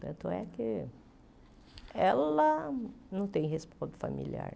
Tanto é que ela não tem respaldo familiar.